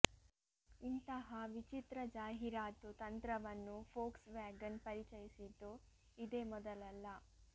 ಇಂತಹ ವಿಚಿತ್ರ ಜಾಹೀರಾತು ತಂತ್ರವನ್ನು ಫೋಕ್ಸ್ ವ್ಯಾಗನ್ ಪರಿಚಯಿಸಿದ್ದು ಇದೇ ಮೊದಲಲ್ಲ